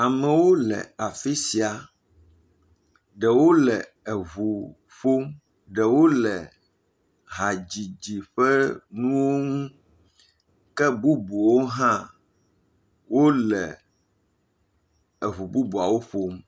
Amewo le afi sia ɖewo le eŋu ƒom ɖewo le hadzidzi ƒe nuwo ŋu, ke bubuwo hã wole eŋu bubuawo ƒom.